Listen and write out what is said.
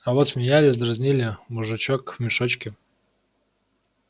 а вот смеялись дразнили мужичок в мешочке